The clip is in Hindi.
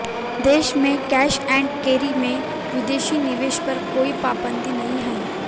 देश में कैश ऐंड कैरी में विदेशी निवेश पर कोई पाबंदी नहीं है